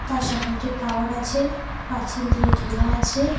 তার সামনে একটি টাওয়ার আছে পাঁচিল দিয়ে ঘেরা আছে।